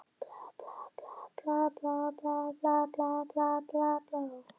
Ég sagði honum að vera rólegur, ég skipti mér ekki af slíku.